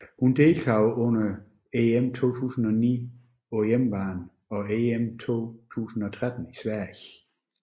Hun deltog under EM 2009 på hjemmebane og EM 2013 i Sverige